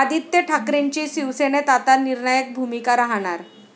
आदित्य ठाकरेंची शिवसेनेत आता निर्णायक भूमिका राहणार!